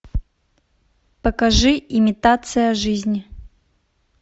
покажи имитация жизни